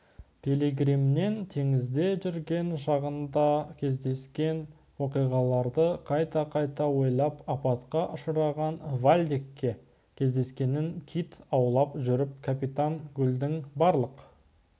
пилигриммен теңізде жүрген шағында кездескен оқиғаларды қайта-қайта ойлап апатқа ұшыраған вальдекке кездескенін кит аулап жүріп капитан гульдің барлық